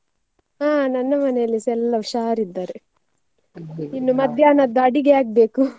ಹಾ ನನ್ನ ಮನೆಯಲ್ಲಿಸಾ ಎಲ್ಲ ಹುಷಾರಿದ್ದಾರೆ, ಮಧ್ಯಾಹ್ನದ್ದು ಅಡುಗೆ ಆಗ್ಬೇಕು .